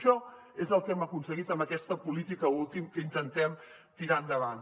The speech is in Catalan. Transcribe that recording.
això és el que hem aconseguit amb aquesta política última que intentem tirar endavant